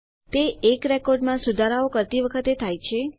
તે એક રેકોર્ડમાં સુધારાઓ કરતી વખતે થાય છે